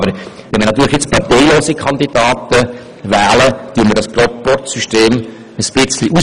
Aber wenn wir parteilose Kandidaten wählen, hebeln wir dieses Proporzsystem ein Stück weit aus.